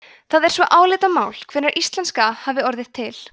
það er svo álitamál hvenær íslenska hafi orðið til